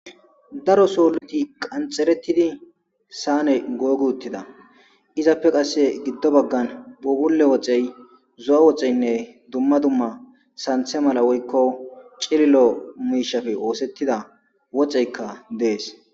daro sooluti qanxerettidi saane goog uttida izappe qasse giddo baggan buugulle woxey zo7a woxeynne dumma dumma santhe mala woykko cililo miishafe oosettida woxeykka dees